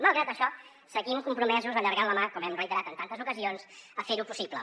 malgrat això seguim compromesos allargant la mà com hem reiterat en tantes ocasions per ferho possible